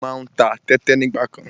Mo má ń ta tẹ́tẹ nígbàkan.